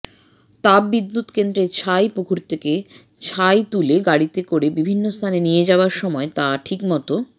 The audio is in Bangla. তাপবিদ্যুৎ কেন্দ্রের ছাই পুকুর থেকে ছাই তুলে গাড়িতে করে বিভিন্নস্থানে নিয়ে যাওয়ার সময় তা ঠিকমত